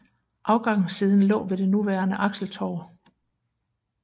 Afgangssiden lå ved det nuværende Axeltorv